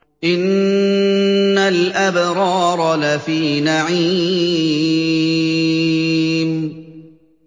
إِنَّ الْأَبْرَارَ لَفِي نَعِيمٍ